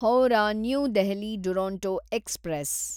Howrah new Delhi Duronto express